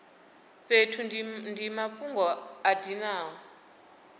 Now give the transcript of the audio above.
fhethu ndi mafhungo a dinaho